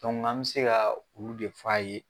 an bɛ se kaa olu de f'a ye